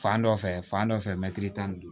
Fan dɔ fɛ fan dɔ fɛ mɛtiri tan ni duuru